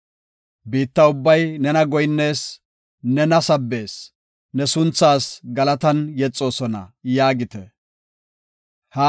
Biitta ubbay nena goyinnees; nena sabbees; ne sunthaas galatan yexoosona” yaagite. Salaha